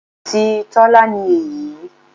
Ti Tọ́lá ni èyí.